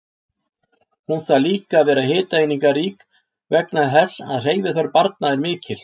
Hún þarf líka að vera hitaeiningarík vegna þess að hreyfiþörf barna er mikil.